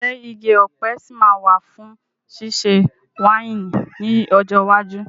Ǹjẹ́ igi ọ̀pẹ sì máa wà fún ṣíṣe wáìnì ní ọjọ́ iwájú?